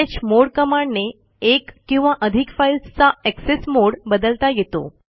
chmod कमांडने एक किंवा अधिक फाईल्सचा एक्सेस मोडे बदलता येतो